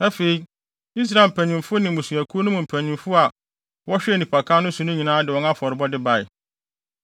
Afei, Israel mpanyimfo ne mmusuakuw no mu mpanyin a wɔhwɛɛ nnipakan no so no nyinaa de wɔn afɔrebɔde bae.